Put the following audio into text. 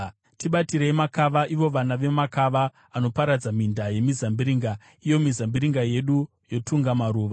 Tibatirei makava, ivo vana vemakava anoparadza minda yemizambiringa, iyo mizambiringa yedu yotunga maruva.